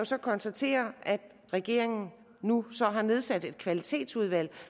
så konstatere at regeringen nu har nedsat et kvalitetsudvalg